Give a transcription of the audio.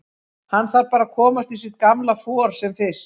Hann þarf bara að komast í sitt gamla for sem fyrst.